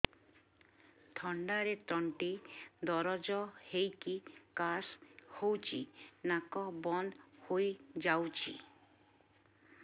ଥଣ୍ଡାରେ ତଣ୍ଟି ଦରଜ ହେଇକି କାଶ ହଉଚି ନାକ ବନ୍ଦ ହୋଇଯାଉଛି